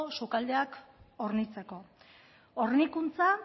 sukaldeak hornitzeko hornikuntza